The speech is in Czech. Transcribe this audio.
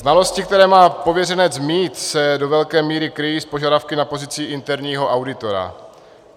Znalosti, které má pověřenec mít, se do velké míry kryjí s požadavky na pozici interního auditora.